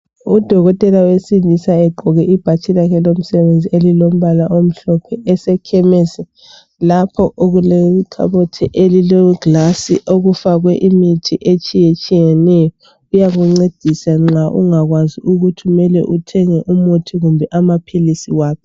u dokotela wesilisa ugqoke ibhatshi lakhe lomsebenzi elilombala mhlophe esekhemesi lapho okulekhabothi elile glass okufakwe imithi etshiyetshiyeneyo iyakuncedisa nxa ungakwazi ukuthi kumele uthenge umuthi kumbe amaphilisi waphi